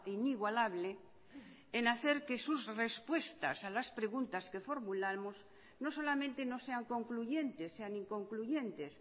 inigualable en hacer que sus respuestas a las preguntas que formulamos no solamente no sean concluyentes sean inconcluyentes